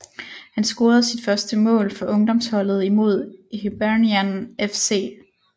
Han scorede sit første mål for ungdomsholdet imod Hibernian FC